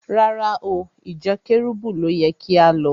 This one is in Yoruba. Rárá o, ìjọ Kẹ́rúbù ló yẹ kí á lọ.